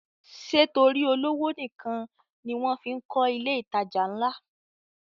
Ṣé torí olówó nìkan ni wọ́n fí ń kọ ilé ìtajà ńlá?